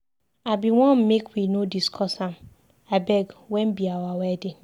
I bin wan make we no discuss am. Abeg wen be our wedding?